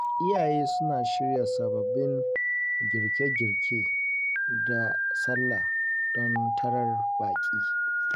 Iyaye suna shirya sababbin girke-girke da Sallah don tarar baƙi